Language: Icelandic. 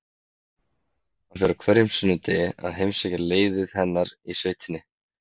Hann fer á hverjum sunnudegi að heimsækja leiðið hennar í sveitinni.